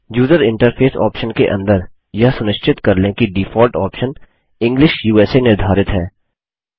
user interface option के अंदर यह सुनिश्चित कर लें कि डिफॉल्ट ऑप्शन इंग्लिश उसा निर्धारित है